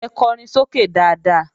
Ẹ kọrin sókè dáadáa!